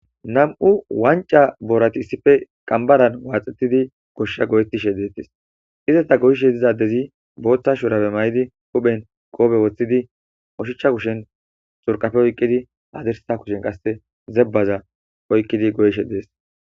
nam7u wanca boorati issife qambaran waaxetidi goshsha goyettishe deettis izasta goyishe zizadezi booththa shurabe may7idi huphen goobe woththidi oshichcha kushen surqafe oyqqidi haazersa kushen qasse zebbaza oykkidi goyishe dees.